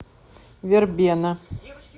вербена